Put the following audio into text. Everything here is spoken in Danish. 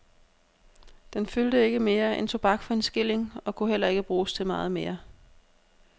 Den fyldte ikke mere end tobak for en skilling og kunne heller ikke bruges til meget mere.